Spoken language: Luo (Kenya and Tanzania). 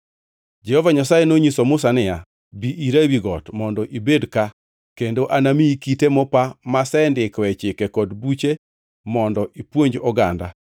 Jehova Nyasaye nonyiso Musa niya, “Bi ira ewi got mondo ibed ka kendo anamiyi kite mopa masendikoe chike kod buche mondo ipuonj oganda.”